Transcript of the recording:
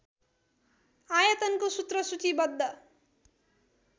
आयतनको सूत्र सूचीबद्ध